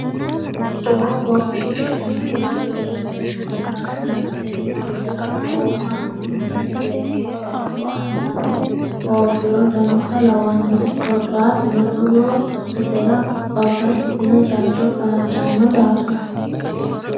Doogo qiqishanko doyichote base labbano tene basera oofano manni seekke qoropho assanni oofiro dancha lawanoe korkaatuno togo basera babbaxxitino jado xaadano daafira.